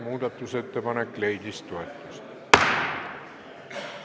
Muudatusettepanek leidis toetust.